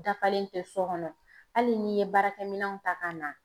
Dafalen tɛ so kɔnɔ ,hali n'i ye baarakɛminɛw ta ka na